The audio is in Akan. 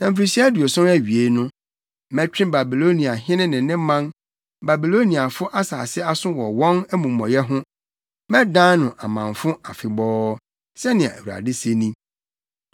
“Na mfirihyia aduɔson awiei no, mɛtwe Babiloniahene ne ne man, Babiloniafo asase aso wɔ wɔn amumɔyɛ ho, mɛdan no amamfo afebɔɔ,” sɛnea Awurade se ni.